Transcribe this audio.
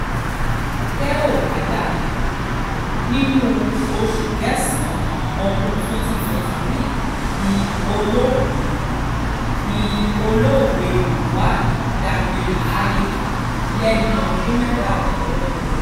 tẹ́ ò bá gbàgbé nínú oṣù kẹsàn-án ọdún twenty twenty three ni olóògbé ni olóògbé mohbad dágbére fáyé lẹ́ni ọdún mẹ́tàdínlọ́gbọ̀n